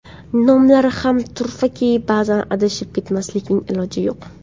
Nomlari ham turfaki, ba’zan adashib ketmaslikning iloji yo‘q.